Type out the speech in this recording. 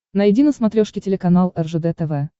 найди на смотрешке телеканал ржд тв